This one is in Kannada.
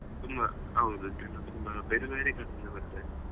ತುಂಬಾ ಹೌದು ತುಂಬಾ ಬೇರೆ ಬೇರೆ ಕಡೆಯಿಂದ ಬರ್ತಾರೆ .